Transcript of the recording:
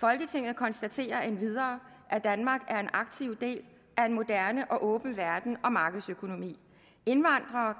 folketinget konstaterer endvidere at danmark er en aktiv del af en moderne og åben verden og markedsøkonomi indvandrere